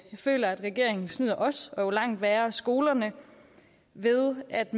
jeg føler at regeringen snyder os og langt værre skolerne ved at